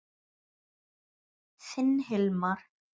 Þinn Hilmar.